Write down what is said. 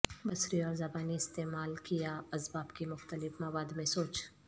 بصری اور زبانی استعمال کیا اسباب کی مختلف مواد میں سوچ